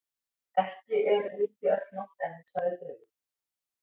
Ekki er úti öll nótt enn, sagði draugurinn.